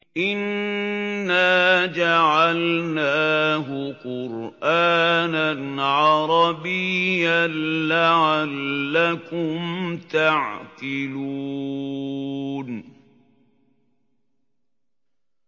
إِنَّا جَعَلْنَاهُ قُرْآنًا عَرَبِيًّا لَّعَلَّكُمْ تَعْقِلُونَ